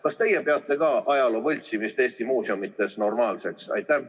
Kas teie peate ka ajaloo võltsimist Eesti muuseumides normaalseks?